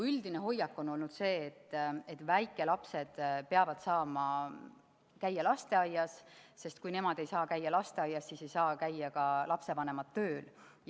Üldine hoiak on olnud see, et väikelapsed peavad saama käia lasteaias, sest kui nemad ei saa käia lasteaias, siis ei saa ka lapsevanemad käia tööl.